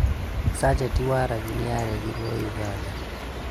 Sachet waragi nĩaregirwo Ũganda